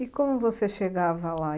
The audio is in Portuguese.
E como você chegava lá?